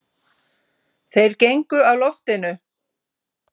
Þeir gengu af loftinu.